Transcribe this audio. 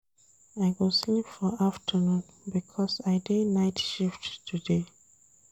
I go sleep for afternoon because I dey night shift today.